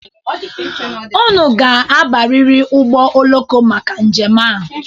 Unu ga-abarịrị ụgbọ oloko maka njem a.